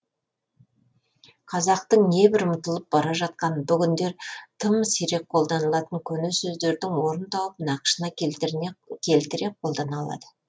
қазақтың небір ұмытылып бара жатқан бүгіндер тым сирек қолданылатын көне сөздердің орын тауып нақышына келтіре қолдана алады